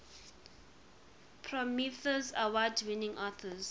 prometheus award winning authors